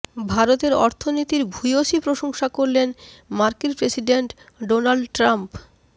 ভারতের অর্থনীতির ভূয়সী প্রশংসা করলেন মার্কিন প্রেসিডেন্ট ডোনাল্ড ট্রাম্প